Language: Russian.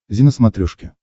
зи на смотрешке